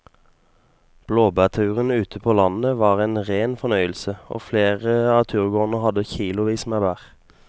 Blåbærturen ute på landet var en rein fornøyelse og flere av turgåerene hadde kilosvis med bær.